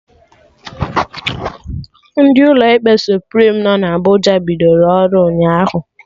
Ndị ụlọ ikpe Suprim nọ na Abụja bidoro ọrụ ụnyaahụ